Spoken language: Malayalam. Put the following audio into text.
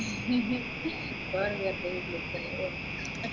ഇപ്പൊ എഴുന്നേറ്റെ ഉള്ളു ഇപ്പോയെ